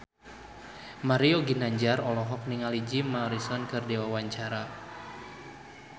Mario Ginanjar olohok ningali Jim Morrison keur diwawancara